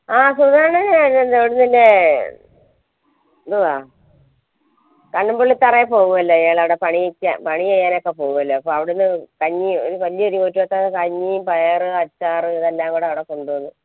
ആഹ് എന്തുവാ കണ്ണുമ്പുള്ളിതറയി പോവ്വുവല്ലേ അയാൾ പണി പണിചെയ്യാനൊക്കെ പോവൂല്ലേ അപ്പൊ അവിടന്ന് കഞ്ഞി കഞ്ഞി പയറ് അച്ചാറ് ഇതെല്ലം കൂടെ അവിടെ കൊണ്ട് വന്നു